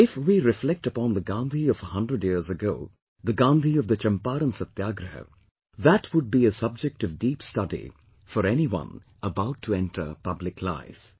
But if we reflect upon the Gandhi of a hundred years ago, the Gandhi of the Champaran Satyagraha, that would be a subject of deep study for anyone about to enter public life